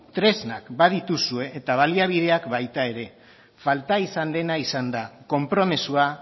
tresnak badituzue eta baliabideak baita ere falta izan dena izan da konpromisoa